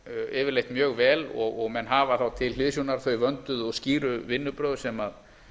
yfirleitt mjög vel og menn hafa þá til hliðsjónar þau vönduðu og skýru vinnubrögð sem